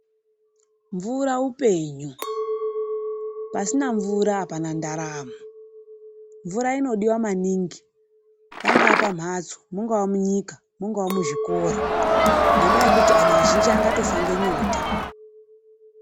Mvura upenyu. Pasina mvura apana ndaramo. Mvura inodiwa maningi pangaa pamhatso mungaa munyika mungava muzvikora, ngendaa yekuti anhu azhinji angatofa ngenyota.